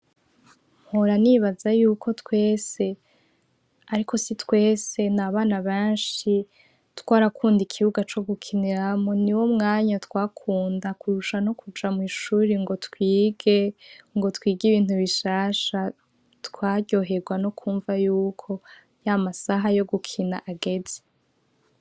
Mpora nibaza yuko twese, ariko si twese, n'abana benshi twarakunda ikibuga co gukiniramwo niwo mwanya twakunda kurusha no kuja mw'ishuri ngo twige, ngo twige ibintu bishasha, twaryoherwa no kwumva yuko y'amasaha yo gukina ageze.